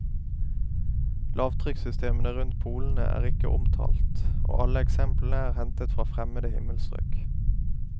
Lavtrykksystemene rundt polene er ikke omtalt, og alle eksemplene er hentet fra fremmede himmelstrøk.